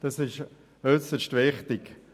Das ist äusserst wichtig.